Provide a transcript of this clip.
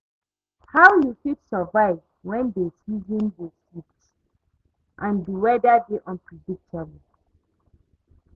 how you fit survive when dey season dey shift and di weather dey unpredictable?